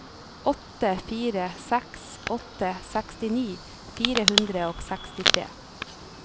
åtte fire seks åtte sekstini fire hundre og sekstitre